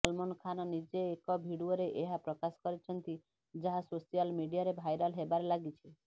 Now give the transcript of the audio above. ସଲମାନ ଖାନ ନିଜେ ଏକ ଭିଡିଓରେ ଏହା ପ୍ରକାଶ କରିଛନ୍ତି ଯାହା ସୋସିଆଲ ମିଡିଆରେ ଭାଇରାଲ ହେବାରେ ଲାଗିଛି